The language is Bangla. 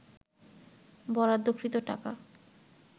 বরাদ্দকৃত টাকা